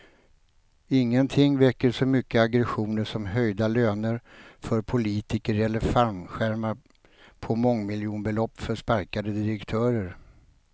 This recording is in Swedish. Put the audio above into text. Ingenting väcker så mycket aggressioner som höjda löner för politiker eller fallskärmar på mångmiljonbelopp för sparkade direktörer.